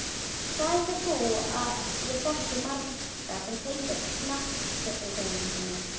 Hvað heldur þú að ég þekki marga sem tengjast knattspyrnuhreyfingunni?